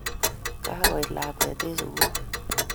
Kakoit lakwet eng sugul